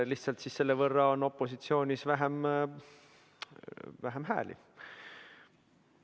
Lihtsalt siis on opositsioonis selle võrra vähem hääli.